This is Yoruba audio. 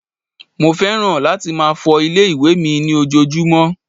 Mo fẹ́ràn láti máa fọ ilé-ìwẹ̀ mi ní ojoojúmọ́